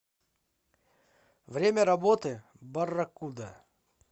время работы барракуда